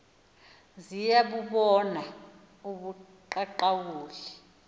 ziya bubona ubuqaqawuli